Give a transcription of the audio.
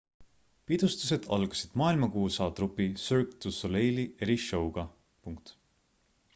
pidustused algasid maailmakuulsa trupi cirque du soleil eri-show'ga